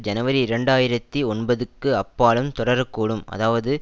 ஜனவரி இரண்டு ஆயிரத்தி ஒன்பதுக்கு அப்பாலும் தொடரக்கூடும் அதாவது